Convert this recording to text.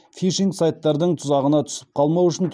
фишинг сайттардың тұзағына түсіп қалмау үшін